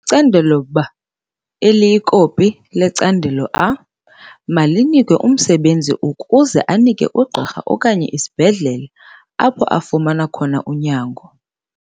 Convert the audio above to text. Icandelo B - eliyikopi yecandelo A - malinikwe umsebenzi ukuze anike ugqirha okanye isibhedlele apho afumana khona unyango.